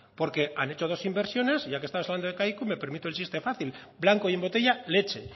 porque han hecho dos inversiones y ya que estamos hablando de kaiku me permito el chiste fácil blanco y en botella leche